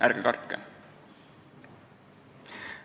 Ärge kartke!